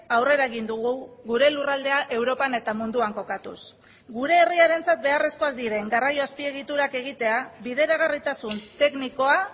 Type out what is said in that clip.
aurrera egin dugu gure lurraldea europan eta munduan kokatuz gure herriarentzat beharrezkoak diren garraio azpiegiturak egitea bideragarritasun teknikoa